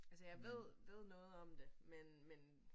Altså jeg ved ved noget om det men men